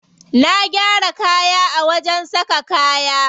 Na gyara kaya a wajen saka kaya.